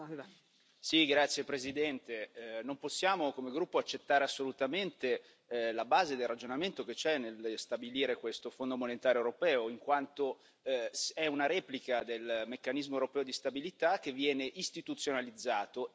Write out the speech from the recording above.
Signora Presidente, onorevoli colleghi, non possiamo come gruppo accettare assolutamente la base del ragionamento che c'è nello stabilire questo Fondo monetario europeo, in quanto è una replica del Meccanismo europeo di stabilità, che viene istituzionalizzato.